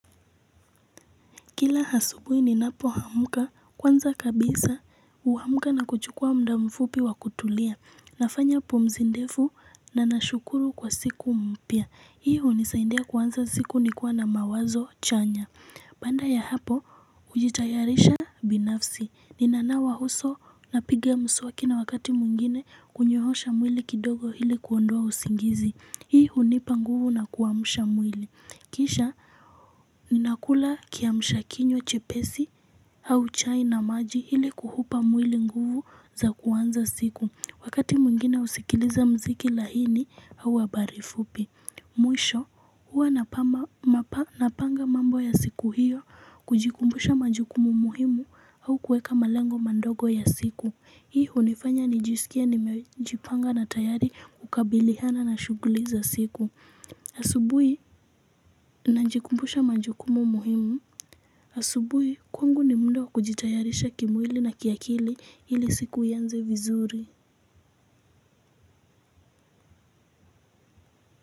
Kila asubuhi ninapoamka kwanza kabisa huamka na kuchukua muda mfupi wa kutulia. Nafanya pumzi ndefu na nashukuru kwa siku mpya. Hii hunisaidia kuanza siku nikiwa na mawazo chanya. Baada ya hapo hujitayarisha binafsi. Ninanawa huso napiga mswaki na wakati mwingine kunyoosha mwili kidogo ili kuondoa usingizi. Hii hunipa nguvu na kuamsha mwili. Kisha, ninakula kiamshakinywa chepesi au chai na maji ili kuuupa mwili nguvu za kuanza siku. Wakati mwingine husikiliza mziki laini au habari fupi. Mwisho, huwa napanga mambo ya siku hiyo, kujikumbusha majukumu muhimu au kuweka malengo madogo ya siku. Hii hunifanya nijisikie nimejipanga na tayari kukabiliana na shughuli za siku. Asubuhi, najikumbusha majukumu muhimu. Asubuhi, kwangu ni muda wa kujitayarisha kimwili na kiakili ili siku ianze vizuri.